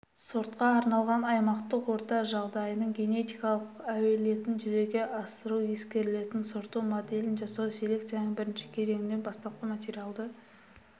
сортқа арналған аймақтық орта жағдайының генетикалық әлеуетін жүзеге асыру ескерілетін сорт моделін жасауда селекцияның бірінші кезеңінде бастапқы материалды